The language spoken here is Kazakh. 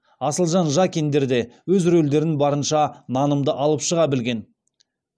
асылжан жакиндер де өз рөлдерін барынша нанымды алып шыға білген